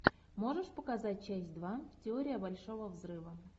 можешь показать часть два теория большого взрыва